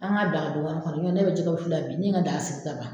An ka dila ka don wɛrɛ kɔnɔ n'o tɛ ne be jɛgɛ wusu la bi ne ye n ka da sigi ta kan